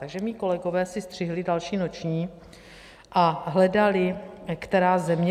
Takže mí kolegové si střihli další noční a hledali, která země...